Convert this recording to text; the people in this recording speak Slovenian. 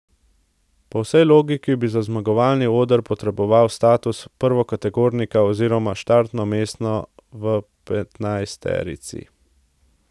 Po vsej logiki bi za zmagovalni oder potreboval status prvokategornika oziroma štartno mesto v petnajsterici.